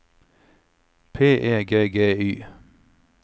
P E G G Y